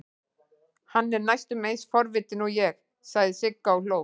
Hann er næstum eins forvitinn og ég, sagði Sigga og hló.